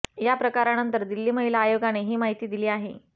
या प्रकारानंंतर दिल्ली महिला आयोगाने ही माहिती दिली आहे